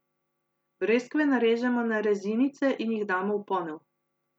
Breskve narežemo na rezinice in jih damo v ponev.